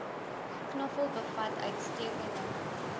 knoffel bevat uitstekende